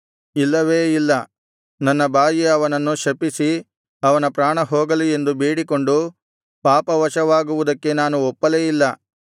ಇಲ್ಲವೇ ಇಲ್ಲ ನನ್ನ ಬಾಯಿ ಅವನನ್ನು ಶಪಿಸಿ ಅವನ ಪ್ರಾಣ ಹೋಗಲಿ ಎಂದು ಬೇಡಿಕೊಂಡು ಪಾಪವಶವಾಗುವುದಕ್ಕೆ ನಾನು ಒಪ್ಪಲೇ ಇಲ್ಲ